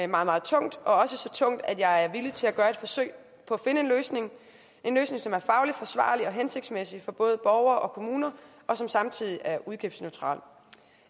meget tungt og også så tungt at jeg er villig til at gøre et forsøg på at finde en løsning en løsning som er fagligt forsvarlig og hensigtsmæssig for både borgere og kommuner og som samtidig er udgiftsneutral